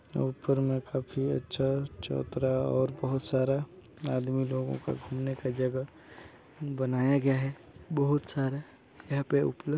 ऊपर में काफी अच्छा चौतरा और बहुत सारा आदमी लोगों का घूमने का जगह बनाया गया है बहुत सारा यहाँ पे उपलब्ध--।